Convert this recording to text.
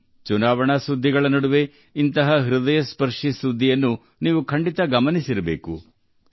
ಚುನಾವಣೆಯ ಸುದ್ದಿಗಳ ನಡುವೆ ಹೃದಯ ಸ್ಪರ್ಶಿಸುವ ಇಂತಹ ಸುದ್ದಿಗಳನ್ನು ನೀವು ಖಂಡಿತವಾಗಿಯೂ ಗಮನಿಸಿದ್ದೀರಿ ಎಂದು ನಾನು ಭಾವಿಸುವೆ